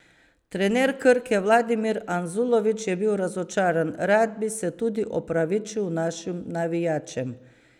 Trener Krke Vladimir Anzulović je bil razočaran: 'Rad bi se tudi opravičil našim navijačem.